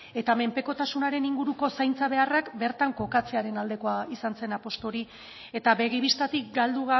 eta menpekotasunaren inguruko zaintza beharrak bertan kokatzearen aldekoa izan zen apustu hori eta begi bistatik galdu